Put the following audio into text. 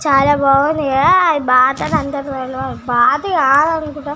చాల బాగునది కదా అది బాతు అని అందరికి తెల్వదు బాతు కాదు అనుకొంటా--